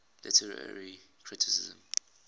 literary criticism